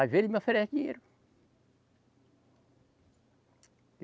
As vezes ele me oferece dinheiro.